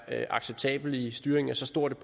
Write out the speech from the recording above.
acceptabelt i styringen af så stort